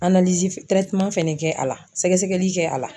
fɛnɛ kɛ a la, sɛgɛsɛgɛli kɛ a la.